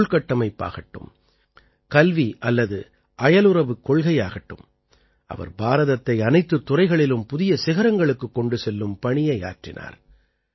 உள்கட்டமைப்பாகட்டும் கல்வி அல்லது அயலுறவுக் கொள்கையாகட்டும் அவர் பாரதத்தை அனைத்துத் துறைகளிலும் புதிய சிகரங்களுக்குக் கொண்டு செல்லும் பணியை ஆற்றினார்